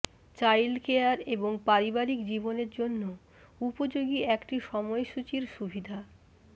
child care এবং পারিবারিক জীবনের জন্য উপযোগী একটি সময়সূচির সুবিধা